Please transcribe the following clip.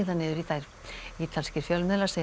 niður í þær ítalskir fjölmiðlar segja